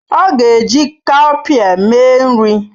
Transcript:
Ọ ga-eji cowpea mee nri.